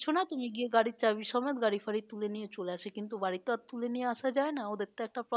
দিচ্ছ না তুমি গিয়ে গাড়ির চাবি সমেত গাড়ি ফাড়ি তুলে নিয়ে চলে আসে কিন্তু বাড়ি তো আর তুলে নিয়ে আসা যায় না ওদের তো একটা